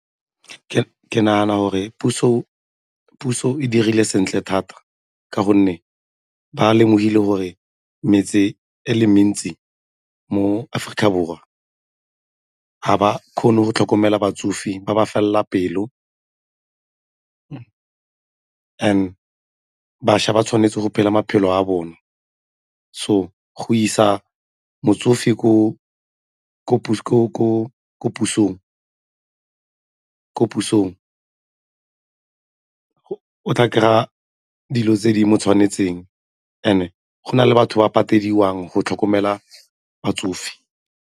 Ke nagana gore puso e dirile sentle thata ka gonne ba lemogile gore metse e le mentsi mo Aforika Borwa ga ba kgone go tlhokomela batsofe ba ba felela pelo, bašwa ba tshwanetse go phela maphelo a bone. So, go isa motsofe ko pusong o tla kry-a dilo tse di mo tshwanetseng and-e go na le batho ba patedisang go tlhokomela batsofe.